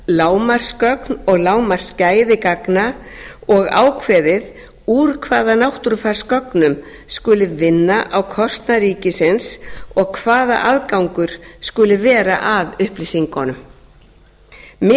lágmarksgögn og lágmarksgæði gagna og ákveðið úr hvaða náttúrufarsgögnum skuli vinna á kostnað ríkisins og hvaða aðgangur skuli vera að upplýsingunum miða